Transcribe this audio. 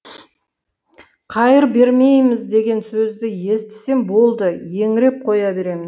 қайыр бермейміз деген сөзді естісем болды еңіреп қоя беремін